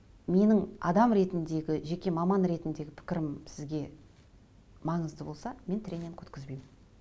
менің адам ретіндегі жеке маман ретіндегі пікірім сізге маңызды болса мен тренинг өткізбеймін